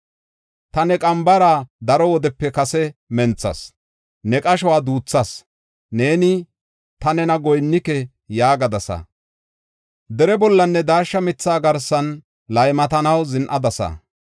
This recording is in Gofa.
“Ta ne qambara daro wodepe kase menthas; ne qashuwa duuthas. Neeni, ‘Ta nena goyinnike’ yaagadasa. Dere bollanne daashsha mitha garsan laymatanaw zin7adasa.